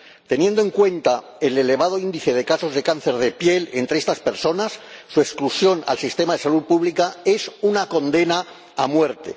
Teniendo en cuenta el elevado índice de casos de cáncer de piel entre estas personas, su exclusión del sistema de salud pública es una condena a muerte.